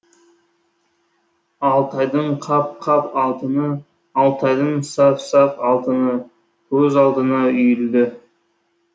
алтайдың қап қап алтыны алтайдың саф саф алтыны көз алдына үйілді